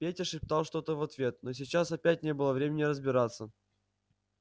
петя шептал что-то в ответ но сейчас опять не было времени разбираться